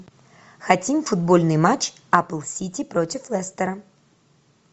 хотим футбольный матч апл сити против лестера